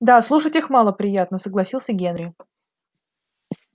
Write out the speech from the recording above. да слушать их малоприятно согласился генри